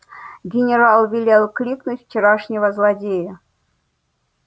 генерал велел кликнуть вчерашнего злодея